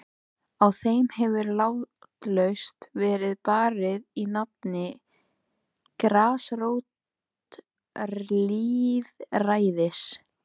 Á þeim hefur látlaust verið barið í nafni grasrótarlýðræðis.